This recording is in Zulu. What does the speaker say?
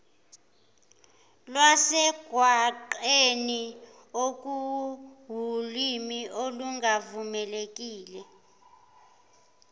lwasemgwaqeni okuwulimi olungavumelekile